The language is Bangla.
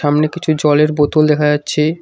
সামনে কিছু জলের বোতল দেখা যাচ্ছে।